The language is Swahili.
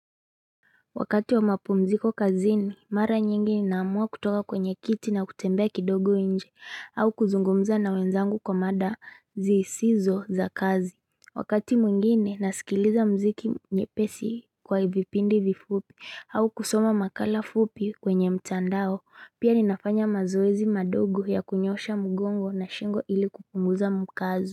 Wakati wa mapumziko kazini, mara nyingi naamua kutoka kwenye kiti na kutembea kidogo inje, au kuzungumza na wenzangu kwa mada zisizo za kazi. Wakati mwingine, nasikiliza mziki nyepesi kwa vipindi vifupi, au kusoma makala fupi kwenye mtandao, pia ninafanya mazoezi madogo ya kunyoosha mgongo na shingo ili kupunguza mkazo.